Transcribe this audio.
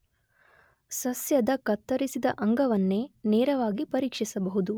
ಸಸ್ಯದ ಕತ್ತರಿಸಿದ ಅಂಗವನ್ನೇ ನೇರವಾಗಿ ಪರೀಕ್ಷಿಸಬಹುದು.